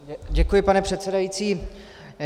Děkuji, pane předsedající.